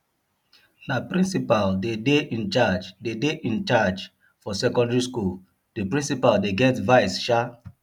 na principal dey dey incharge dey dey incharge for secondary skool di principal dey get vice shaa